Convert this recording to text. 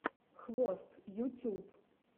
хвост ютюб